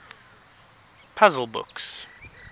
puzzle books